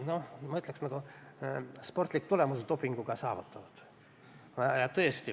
Ma ütleksin, et see oli nagu dopinguga saavutatud sportlik tulemus.